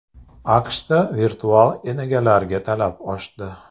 AQShda virtual enagalarga talab oshdi.